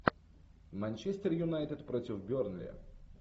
манчестер юнайтед против бернли